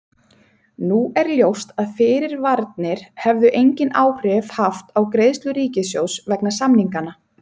Nú er ljóst að fyrirvararnir hefðu engin áhrif haft á greiðslur ríkissjóðs vegna samninganna.